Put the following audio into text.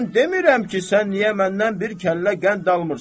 Mən demirəm ki, sən niyə məndən bir kəllə qənd almırsan.